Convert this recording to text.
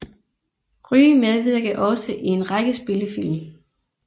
Ryg medvirkede også i en række spillefilm